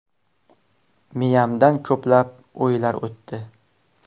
Miyamdan ko‘plab o‘ylar o‘tdi.